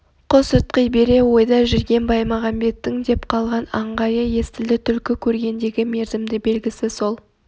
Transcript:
құс ытқи бере ойда жүрген баймағамбеттің деп қалған айғайы естілді түлкі көргендегі мерзімді белгісі сол